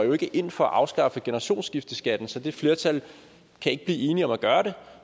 ind for at afskaffe generationsskifteskatten så det flertal kan ikke blive enige om at gøre det